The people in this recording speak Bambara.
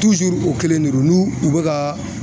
o kelen de don n'u u bɛ ka